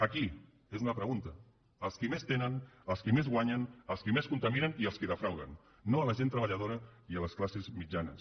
a qui és una pregunta als qui més tenen als qui més guanyen als qui més contaminen i als qui defrauden no a la gent treballadora i a les classes mitjanes